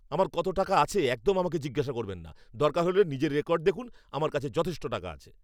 আমার কত টাকা আছে একদম আমাকে জিজ্ঞেস করবেন না। দরকার হলে নিজের রেকর্ড দেখুন। আমার কাছে যথেষ্ট টাকা আছে।